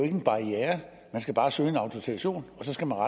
en barriere man skal bare søge en autorisation